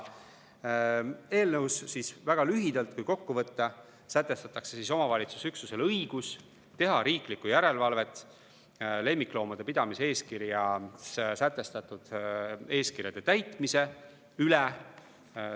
Eelnõus, kui väga lühidalt kokku võtta, sätestatakse omavalitsusüksuse õigus teha riiklikku järelevalvet lemmikloomade pidamise eeskirjas sätestatud eeskirjade täitmise üle.